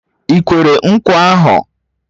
I kwere nkwa ahu?